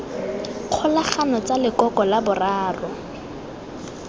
kgolagano tsa lekoko la boraro